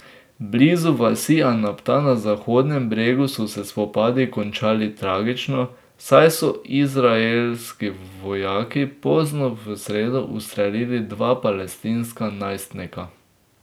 Blizu vasi Anabta na Zahodnem bregu so se spopadi končali tragično, saj so izraelski vojaki pozno v sredo ustrelili dva palestinska najstnika.